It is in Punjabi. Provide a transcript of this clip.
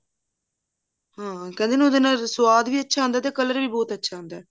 ਹਾਂ ਕਹਿੰਦੇ ਨਾ ਉਹਦੇ ਨਾਲ ਸਵਾਦ ਵੀ ਅੱਛਾ ਆਉਂਦਾ ਤੇ color ਵੀ ਬਹੁਤ ਅੱਛਾ ਆਉਂਦਾ